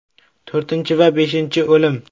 To‘rtinchi va beshinchi o‘lim.